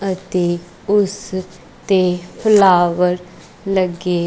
ਅਤੇ ਉਸ ਤੇ ਫਲਾਵਰ ਲੱਗੇ--